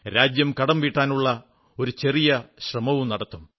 രാജ്യം കടം വീട്ടാനുള്ള ഒരു ചെറിയ ശ്രമം നടത്തും